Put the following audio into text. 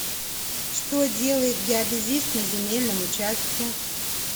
что делает геодезист на земельном участке